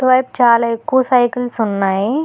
ఇటు వైప్ చాలా ఎక్కువ సైకిల్స్ ఉన్నాయి.